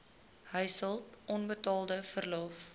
huishulp onbetaalde verlof